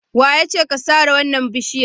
Wa ya ce ka sare wannan bishiyar?